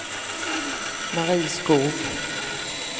Mari Skoog